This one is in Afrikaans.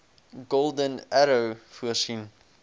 golden arrow voorsien